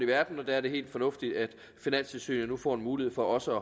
verden der er det helt fornuftigt at finanstilsynet nu får en mulighed for også